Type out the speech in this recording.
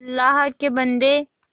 अल्लाह के बन्दे